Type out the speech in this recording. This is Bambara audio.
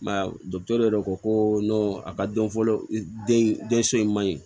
I ma ye yɛrɛ ko ko a ka dɔn fɔlɔ den so in man ɲi